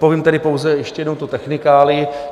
Povím tedy pouze ještě jednou tu technikálii.